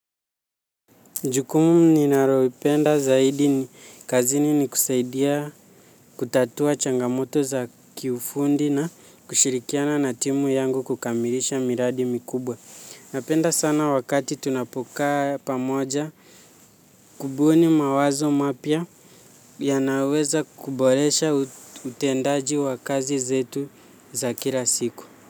Jukumu ninalolipenda zaidi kazini ni kusaidia kutatua changamoto za kiufundi na kushirikiana na timu yangu kukamilisha miradi mikubwa. Napenda sana wakati tunapo kaa pamoja kubuni mawazo mapya ya naweza kuboresha utendaji wa kazi zetu za kila siku.